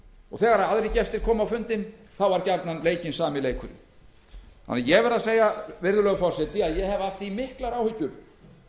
fundinum þegar aðrir gestir komu á fundinn var gjarnan leikinn sami leikurinn þannig að ég verð að segja virðulegi forseti að ég hef af því miklar áhyggjur